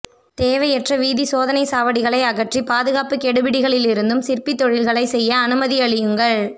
தேவையற்ற வீதி சோதனை சாவடிகளை அகற்றி பாதுகாப்பு கெடுபிடிகளிலிருந்தும் சிற்பி தொழில்களை செய்ய அனுமதியளியுங்கள்